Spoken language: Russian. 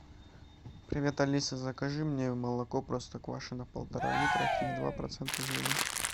привет алиса закажи мне молоко простоквашино полтора литра три и два процента жирности